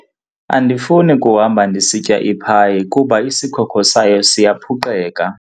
Andifuni kuhamba ndisitya iphayi kuba isikhokho sayo siyaphuqeka.